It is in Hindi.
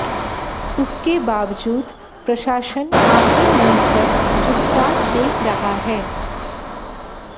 उसके बावजूद प्रशासन आंखे मूंद कर चुपचाप देख रहा है